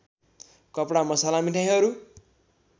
कपडा मसला मिठाईहरू